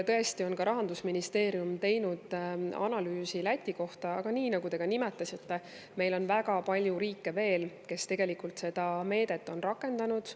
Rahandusministeerium on teinud analüüsi Läti kohta, aga nagu te nimetasite, on meil veel väga palju riike, kes tegelikult seda meedet on rakendanud.